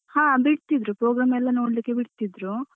ಹ ಬಿಡ್ತಿದ್ರು program ಎಲ್ಲ ನೋಡ್ಲಿಕ್ಕೆ ಬಿಡ್ತಿದ್ರು.